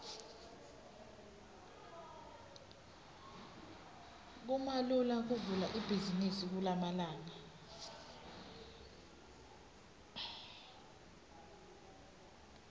kumalula kuvula ibhizimisi kulamalanga